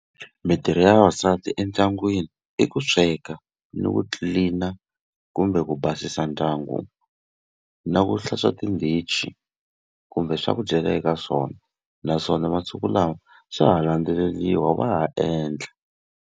Mitirho ya vavasati endyangwini i ku sweka, ni ku clean-a kumbe ku basisa ndyangu, na ku hlantswa tindichi kumbe swa ku dyela eka swona. Naswona masiku lawa swa ha landzeleriwa, va ha endla.